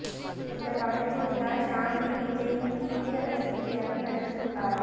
இந்த படத்தில் தான் ஷாமிலி விஜய்யின் தீவிர ரசிகையாக நடித்து உள்ளாராம்